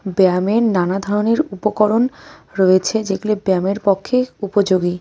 ব্যায়ামের নানা ধরনের উপকরণ রয়েছে যেগুলি ব্যায়ামের পক্ষে উপযোগী।